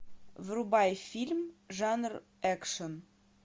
врубай фильм жанр экшн